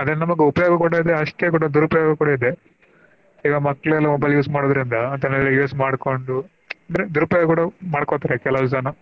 ಅದರಿಂದ ನಮ್ಗ ಉಪಯೋಗ ಅಷ್ಟೇ ಕೂಡಾ ದುರುಪಯೋಗ ಕೂಡಾ ಇದೆ ಈಗಾ. ಈಗಾ ಮಕ್ಳೆಲ್ಲಾ mobile use ಮಾಡೊದ್ರಿಂದ ಅದನೆಲ್ಲಾ use ಮಾಡ್ಕೊಂಡು ಅಂದ್ರೆ ದೂರುಪಯೋಗ ಕೂಡಾ ಮಾಡ್ಕೊತಾರೆ ಕೆಲವು ಜನಾ.